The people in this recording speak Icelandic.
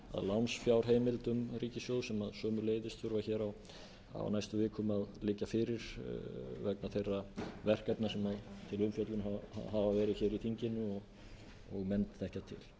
lánsfjárheimildum ríkissjóðs sem sömuleiðis þurfa á næstu vikum að liggja fyrir vegna þeirra verkefna sem til umfjöllunar hafa verið í þinginu og menn þekkja til